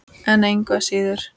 En engu að síður.